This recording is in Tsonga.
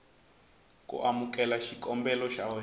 ku amukela xikombelo xa wena